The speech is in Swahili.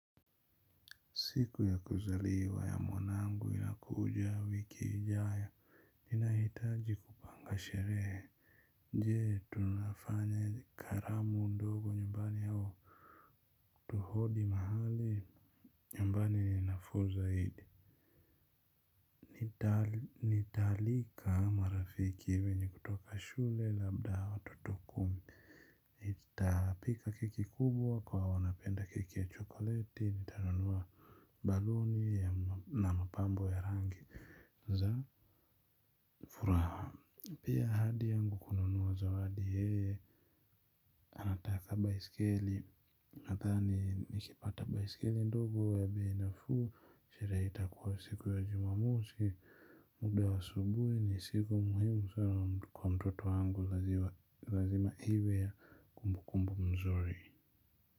Siku ya kuzaliwa ya mwanangu inakuja wiki ijayo. Ninahitaji kupanga sherehe. Je tunafanya gharamu ndogo nyumbani au nukodi mahali? Nyumbani ni nafuu zaidi. Nitaalika marafiki hivi nikitoka shule labda watoto kumi. Nitapika keki kubwa kwa wanapenda keki ya chokoleti. Nitanunua baluni na mapambo ya rangi za furaha ile ahadi yangu kumzawadi yeye. Anataka baiskeli. Nadhani naeza pata baiskeli ndogo ya bei nafuu, sherehe itakuwa siku ya jumamosi muda wa asubuhi ni siku muhimu sana kwa mtoto wangu lazima iwe ya kumbukumbu mzuri.